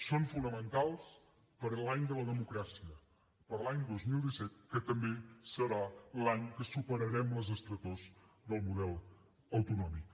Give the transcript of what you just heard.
són fonamentals per a l’any de la democràcia per a l’any dos mil disset que també serà l’any que superarem les estretors del model autonòmic